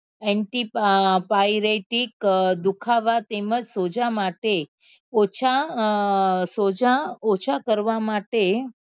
Antyphyretic અ દુખાવા તેમજ સોજા માટે ઓછા સોજા ઓછા કરવા માટે